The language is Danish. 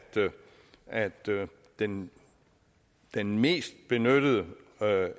at den den mest benyttede